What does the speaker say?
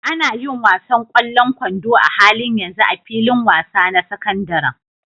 Ana yin wasan ƙwallon kwando a halin yanzu a filin wasa na sakandaren.